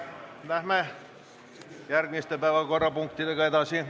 Läheme järgmiste päevakorrapunktidega edasi.